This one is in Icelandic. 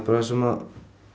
sem